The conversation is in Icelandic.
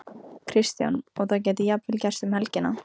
Kristján: Og það gæti jafnvel gerst um helgina?